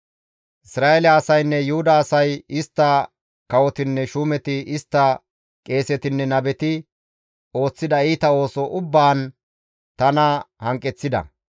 Isra7eele asaynne Yuhuda asay, istta kawotinne shuumeti, istta qeesetinne nabeti ooththida iita ooso ubbaan tana hanqeththida.